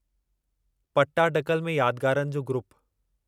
पट्टाडकल में यादगारनि जो ग्रुप